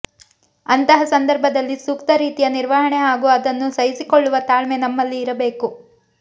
ಅಂತಹ ಸಂದರ್ಭದಲ್ಲಿ ಸೂಕ್ತ ರೀತಿಯ ನಿರ್ವಹಣೆ ಹಾಗೂ ಅದನ್ನು ಸಹಿಸಿಕೊಳ್ಳುವ ತಾಳ್ಮೆ ನಮ್ಮಲ್ಲಿ ಇರಬೇಕು